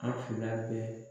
An fila bɛɛ.